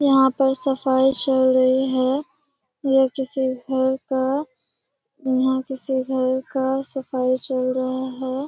यहाँ पर सफाई चल रही है। ये किसी घर का यहाँ किसी घर का सफाई चल रहा है।